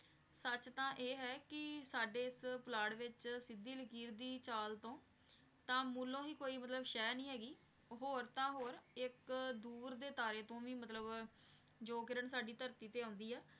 ਸੱਚ ਤਾਂ ਇਹ ਹੈ ਕਿ ਸਾਡੇ ਇਸ ਪੁਲਾੜ ਵਿੱਚ ਸਿੱਧੀ ਲਕੀਰ ਦੀ ਚਾਲ ਤੋਂ ਤਾਂ ਮੂਲੋਂ ਹੀ ਕੋਈ ਮਤਲਬ ਸ਼ੈ ਨੀ ਹੈਗੀ, ਹੋਰ ਤਾਂ ਹੋਰ ਇੱਕ ਦੂਰ ਦੇ ਤਾਰੇ ਤੋਂ ਵੀ ਮਤਲਬ ਜੋ ਕਿਰਨ ਸਾਡੀ ਧਰਤੀ ਤੇ ਆਉਂਦੀ ਹੈ,